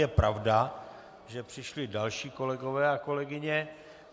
Je pravda, že přišli další kolegové a kolegyně.